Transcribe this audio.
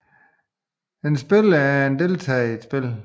En spiller er en deltager i et spil